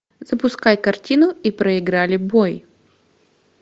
запускай картину и проиграли бой